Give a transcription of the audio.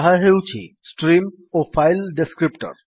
ତାହା ହେଉଛି ଷ୍ଟ୍ରିମ୍ ଓ ଫାଇଲ୍ ଡେସ୍କ୍ରିପ୍ଟର୍